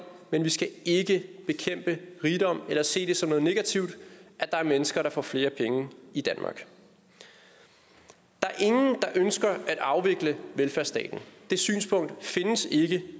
men vi skal ikke bekæmpe rigdom eller se det som noget negativt at der er mennesker der får flere penge i danmark der er ingen der ønsker at afvikle velfærdsstaten det synspunkt findes ikke